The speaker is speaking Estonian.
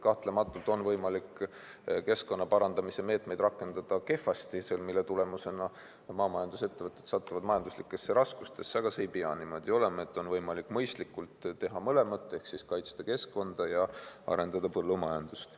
Kahtlemata on võimalik keskkonna parandamise meetmeid rakendada kehvasti, mille tulemusena maamajandusettevõtted satuvad majanduslikesse raskustesse, aga see ei pea niimoodi olema – on võimalik mõistlikult teha mõlemat ehk kaitsta keskkonda ja arendada põllumajandust.